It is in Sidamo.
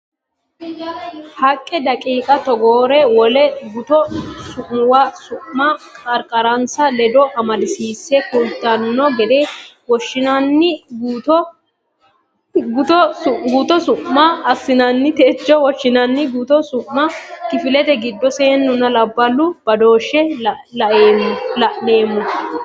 haqqe daqiiqa togoore wole gutu su muwa Su ma qarqarinsa ledo amadisiisse kultanno gede Woshshonna Gutu Su ma assinsa techo woshshonna gutu su mi Kifilete giddo seennunna labballu badooshshe la neemmo.